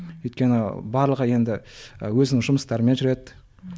өйткені барлығы енді өзінің жұмыстарымен жүреді